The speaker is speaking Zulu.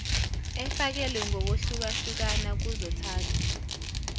efakelwe ngokwehlukahlukana kuzothatha